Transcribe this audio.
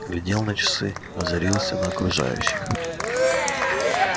глядел на часы озарился на окружающих